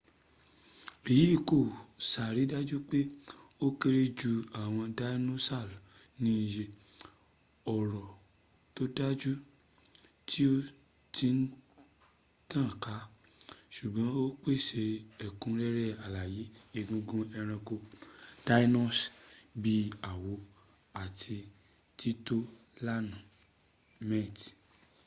èyì kò ṣàrídájú pé ó kéré jù àwọn dinosaurs ní ìyẹ́, ọ̀rọ̀ tó dájú tí ó ti tànká ṣùgbọ́n ó pèsè ẹ̀kúnrẹ́rẹ́ àlàyé egungun ẹranko dinosaurs bíi àwọ́ àti títò lanà mẹt